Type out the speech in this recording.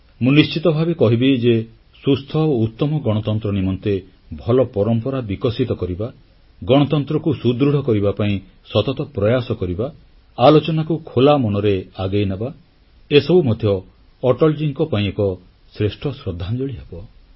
ମୁଁ ନିଶ୍ଚିତ ଭାବେ କହିବି ଯେ ସୁସ୍ଥ ଓ ଉତ୍ତମ ଗଣତନ୍ତ୍ର ନିମନ୍ତେ ଭଲ ପରମ୍ପରା ବିକଶିତ କରିବା ଗଣତନ୍ତ୍ରକୁ ସୁଦୃଢ଼ କରିବା ପାଇଁ ଶତତ ପ୍ରୟାସ କରିବା ଆଲୋଚନାକୁ ଖୋଲାମନରେ ଆଗେଇନେବା ଏସବୁ ମଧ୍ୟ ଅଟଲଜୀଙ୍କ ପାଇଁ ଏକ ଶ୍ରେଷ୍ଠ ଶ୍ରଦ୍ଧାଞ୍ଜଳି ହେବ